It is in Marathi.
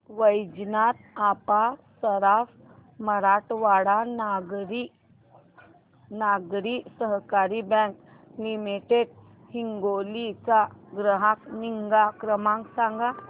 वैजनाथ अप्पा सराफ मराठवाडा नागरी सहकारी बँक लिमिटेड हिंगोली चा ग्राहक निगा क्रमांक सांगा